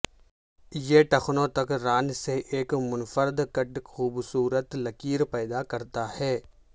یہ ٹخنوں تک ران سے ایک منفرد کٹ خوبصورت لکیر پیدا کرتا ہے